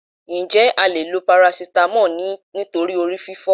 Ǹjẹ́ o leè lo paracetamol nítorí orí fífọ́